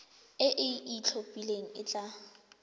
e e itlhophileng e tla